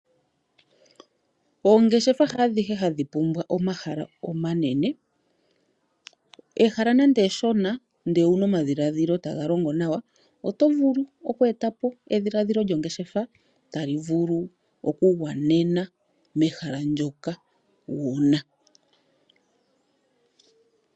Oongeshefa haadhihe hadhi pumbwa omahala omanene, ehala nande eshona ndele owuna omadhilaadhilo taga longo nawa otovulu oku etapo edhiladhilo lyongeshefa talivulu okugwanena mehala ndyoka wuna.